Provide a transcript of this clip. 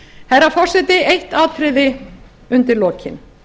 herra forseti eitt atriði undir lokin